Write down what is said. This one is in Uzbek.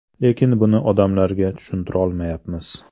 Lekin buni odamlarga tushuntirolmayapmiz.